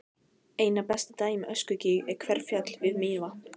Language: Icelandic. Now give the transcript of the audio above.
Einna best dæmi um öskugíg er Hverfjall við Mývatn.